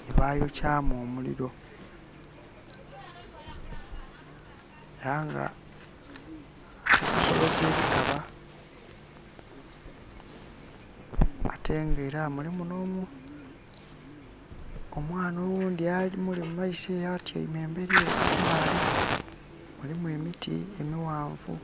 gyebayokyamu omuliro. Era nga ali kusoloza ebikaba ate nga era mulimu n'omwaana oghundhi amuli mu maiso eyo atyaime emberi eyo kuibalaale, mulimu emiti emighanvu.